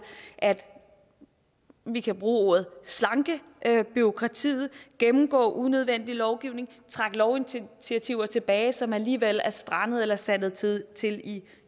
at vi kan bruge ordet slanke bureaukratiet gennemgå unødvendig lovgivning trække lovinitiativer tilbage som alligevel er strandede eller sandet til til i